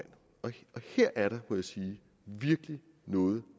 her er der må jeg sige virkelig noget